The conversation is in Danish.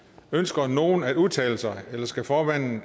ønsker nogen at udtale sig eller skal formanden